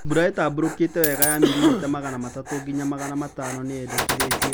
Mbura ĩtambũrũkite wega ya milimita magana matatũ nginya magana matano nĩ yendekithĩtio